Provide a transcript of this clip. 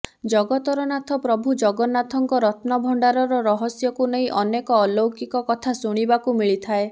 ଜଗତର ନାଥ ପ୍ରଭୁ ଜଗନ୍ନାଥଙ୍କ ରତ୍ନଭଣ୍ଡାରର ରହସ୍ୟକୁ ନେଇ ଅନେକ ଅଲୌକିକ କଥା ଶୁଣିବାକୁ ମିଳିଥାଏ